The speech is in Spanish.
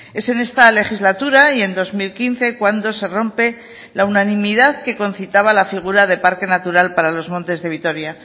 es en esta legislatura y en dos mil quince cuando se rompe la unanimidad que concitaba la figura de parque natural para los montes de vitoria